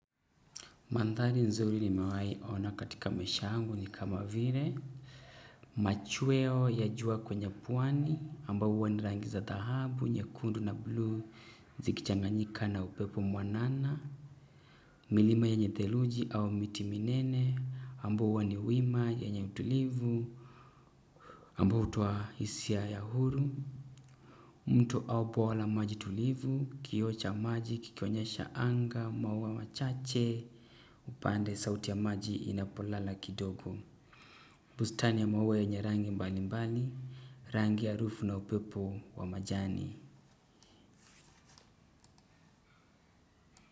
Mandhali nzuri nimewai ona katika maisha yangu ni kama vile machweo ya jua kwenye pwani ambao hua ni rangi za dhahabu nyekundu na bluu zikichanganyika na upepo mwanana milima yenye theluji au miti minene ambao hua ni wima wenye utulivu ambao hutoa hisia ya huru. Mto au poa la maji tulivu kioo cha maji kikionyesha anga maua machache. Upande sauti ya maji inapolala kidogo. Bustani ya maua yenye rangi mbali mbali rangi ya rufu na upepo wa majani.